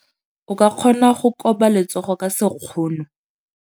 O ka kgona go koba letsogo ka sekgono.